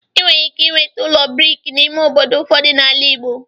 ị nwere ike inweta ụlọ brik n'ime obodo ụfọdụ n'ala ịgbo.